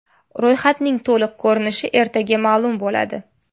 Ro‘yxatning to‘liq ko‘rinishi ertaga ma’lum bo‘ladi.